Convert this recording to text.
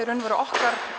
okkar